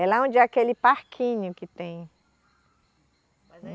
É lá onde é aquele parquinho que tem.